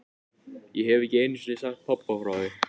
Ég hef ekki einu sinni sagt pabba frá því.